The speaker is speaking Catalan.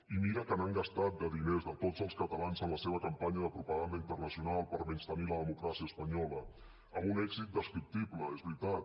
i mira que n’han gastat de diners de tots els catalans en la seva campanya de propaganda internacional per menystenir la democràcia espanyola amb un èxit descriptible és veritat